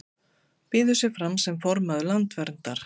Býður sig fram sem formaður Landverndar